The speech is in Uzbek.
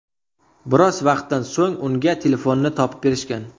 Biroz vaqtdan so‘ng unga telefonini topib berishgan.